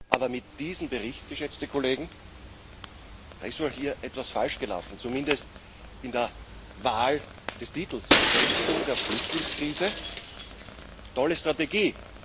Aber mit diesem Bericht, geschätzte Kollegen, da ist wohl hier etwas falsch gelaufen, zumindest in der Wahl des Titels Bewältigung der Flüchtlingskrise tolle Strategie!